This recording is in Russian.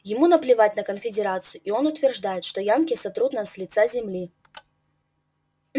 ему наплевать на конфедерацию и он утверждает что янки сотрут нас с лица земли